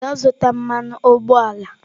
Gaa zụta mmanụ ụgbọala!